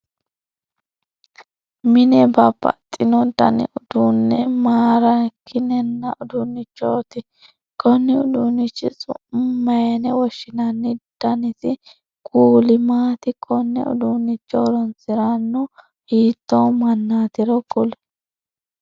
Mine babbaxino danni uduune maareekinanni uduunichoti konni uduunnichi su'ma mayine woshinnanni? Dannisi kuuli maati? Kone uduunnicho horoonsiranu hiitoo mannatiro kuli?